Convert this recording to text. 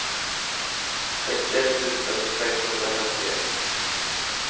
sextioett tusen sexhundrafemtioett